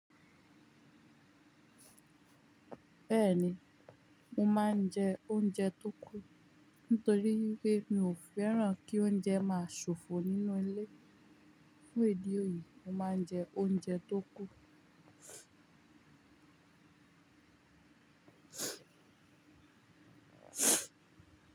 Bẹ́ẹ̀ni, mo máa ń jẹ oúnjẹ tó kú. Tórí n pé mi ò fẹ́ràn kí oúnjẹ máa ṣòfò nínú ilé, fun ìdí òyí, mo máa ń jẹ oúnjẹ tó kú.